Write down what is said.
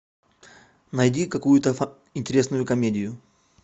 найди какую то интересную комедию